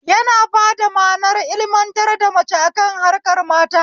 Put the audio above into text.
Yana bada manar ilmantar da mace akan harkar mata